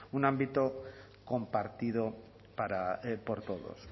un ámbito compartido por todos